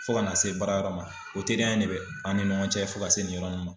Fo ka n'a se baarayɔrɔ ma o teriya in ne bɛ an ni ɲɔgɔn cɛ fo ka se nin yɔrɔ ma.